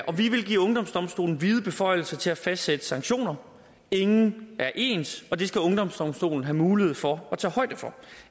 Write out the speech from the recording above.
vi vil give ungdomsdomstolen vide beføjelser til at fastsætte sanktioner ingen er ens og det skal ungdomsdomstolen have mulighed for at tage højde for